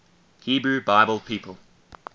hebrew bible people